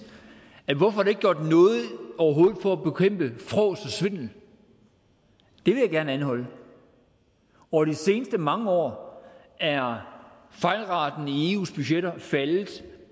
hvorfor er ikke gjort noget for at bekæmpe frås og svindel det vil jeg gerne anholde over de seneste mange år er fejlraten i eus budgetter faldet